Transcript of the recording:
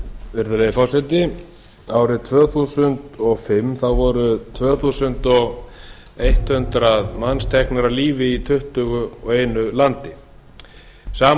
virðulegi forseti árið tvö þúsund og fimm voru tvö þúsund hundrað manns teknir af lífi í tuttugu og einu landi á sama